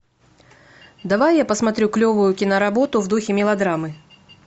давай я посмотрю клевую кино работу в духе мелодрамы